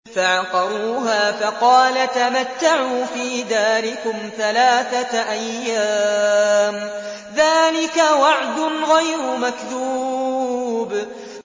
فَعَقَرُوهَا فَقَالَ تَمَتَّعُوا فِي دَارِكُمْ ثَلَاثَةَ أَيَّامٍ ۖ ذَٰلِكَ وَعْدٌ غَيْرُ مَكْذُوبٍ